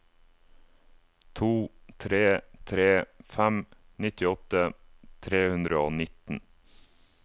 to tre tre fem nittiåtte tre hundre og nitten